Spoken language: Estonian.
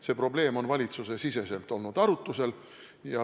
See probleem on valitsusesiseselt arutlusel olnud.